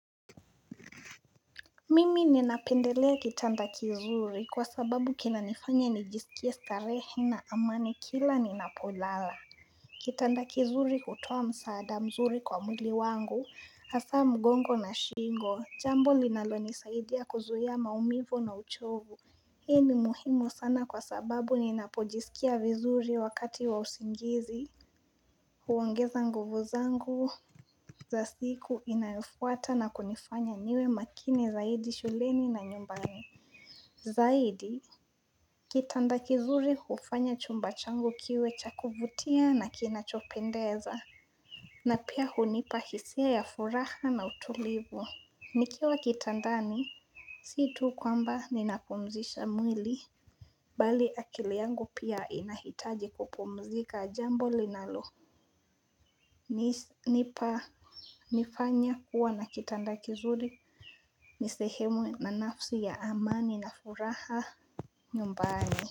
Mimi ninapendelea kitanda kizuri kwa sababu kinanifanya nijisikia starehe na amani kila ninapolala Kitanda kizuri hutoa msaada mzuri kwa mwili wangu hasa mgongo na shingo jambo linalo nisaidia kuzuhia maumivo na uchovu Hii ni muhimu sana kwa sababu ninapojisikia vizuri wakati wa usingizi huongeza nguvu zangu za siku inayofuata na kunifanya niwe makini zaidi shuleni na nyumbani Zaidi Kitanda kizuri hufanya chumbachangu kiwecha kuvutia na kinachopendeza na pia hunipa hisia ya furaha na utulivu Nikiwa kitandani situ kwamba ninapumzisha mwili Bali akiliangu pia inahitaji kupumzika jambo linalo nipa nifanya kuwa na kitanda kizuri nisehemu na nafsi ya amani na furaha nyumbani.